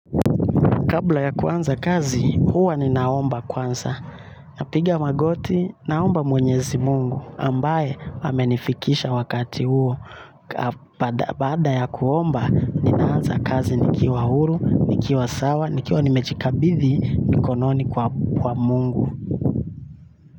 Kabla ya kuanza kazi, huwa ni naomba kwanza. Napiga magoti, naomba mwenyezi mungu, ambaye hamenifikisha wakati huo. Baada ya kuomba naanza kazi, nikiwa huru, nikiwa sawa, nikiwa nimejikabithi, mikononi kwa mungu.